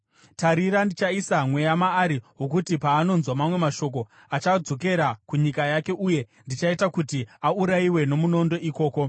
Tarira, ndichaisa mweya maari wokuti paanonzwa mamwe mashoko, achadzokera kunyika yake, uye ndichaita kuti aurayiwe nomunondo ikoko.’ ”